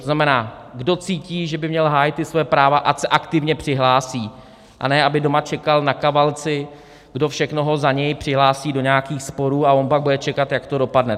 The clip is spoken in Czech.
To znamená, kdo cítí, že by měl hájit svoje práva, ať se aktivně přihlásí, a ne aby doma čekal na kavalci, kdo všechno ho za něj přihlásí do nějakých sporů a on pak bude čekat, jak to dopadne.